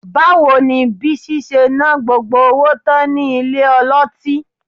Báwo ni Bísí ṣe ná gbogbo owó tán nílé ọlọ́tí?